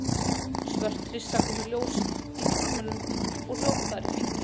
Svört hryssa kom í ljós í hólmanum og hljóp þar í hringi.